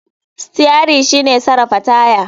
Steri shike sarafa taya.